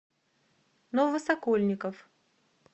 новосокольников